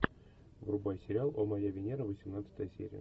врубай сериал о моя венера восемнадцатая серия